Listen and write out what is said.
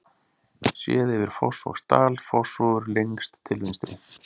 Séð yfir Fossvogsdal, Fossvogur lengst til vinstri.